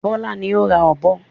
Bọ́lá ní o ra ọ̀bọ.